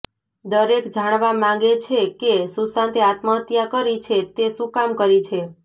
દરેક જાણવા માંગે છે કે સુશાંતે આત્મહત્યા કરી છે તે શું કામ કરી છે